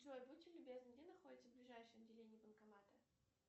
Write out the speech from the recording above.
джой будьте любезны где находится ближайшее отделение банкомата